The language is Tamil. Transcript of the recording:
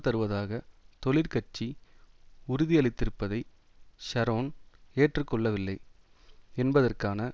தருவதாக தொழிற்கட்சி உறுதியளித்திருப்பதை ஷரோன் ஏற்று கொள்ளவில்லை என்பதற்கான